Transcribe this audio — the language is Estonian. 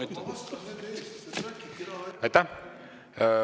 Aitäh!